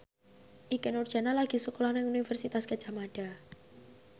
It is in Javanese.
Ikke Nurjanah lagi sekolah nang Universitas Gadjah Mada